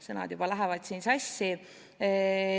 Sõnad juba lähevad sassi.